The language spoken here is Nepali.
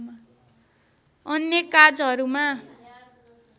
अन्य काजहरुमा